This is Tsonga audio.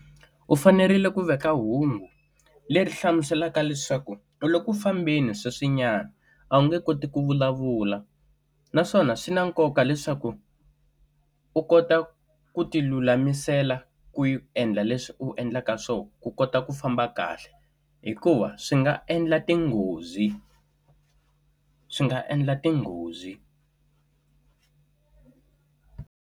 U fanerile ku veka hungu leri hlamuselaka leswaku u loku fambeni sweswinyana a wu nge koti ku vulavula. Naswona swi na nkoka leswaku, u kota ku ti lulamisela ku endla leswi u endlaka swona ku kota ku famba kahle. Hikuva swi nga endla tinghozi, swi nga endla tinghozi.